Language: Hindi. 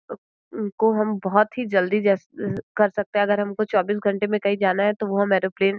अम् को हम बहोत ही जल्दी जैसे कर सकते हैं। अगर हमको चौबीस घंटे में कहीं जाना है तो वो हम एरोप्लेन --